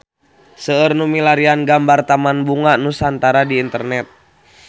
Seueur nu milarian gambar Taman Bunga Nusantara di internet